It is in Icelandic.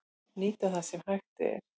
Nýta það sem hægt er